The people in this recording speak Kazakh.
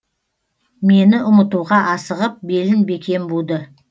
мені ұмытуға асығып белін бекем буды